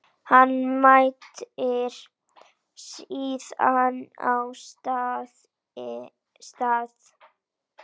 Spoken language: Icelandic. Hann mætir síðan á stað